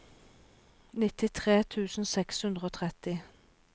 nittitre tusen seks hundre og tretti